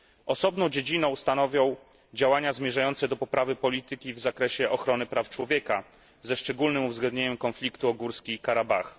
Osobną dziedzinę stanowią działania zmierzające do poprawy polityki w zakresie ochrony praw człowieka, ze szczególnym uwzględnieniem konfliktu w Górskim Karabachu.